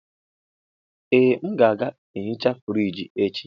Ee, m ga-ehicha friji echi.